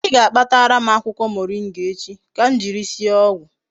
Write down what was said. I ga-akpatara m akwukwo moringa echi ka m jiri sie ogwu